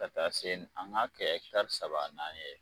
Ka taa se an k'a kɛ tari saba naani ye.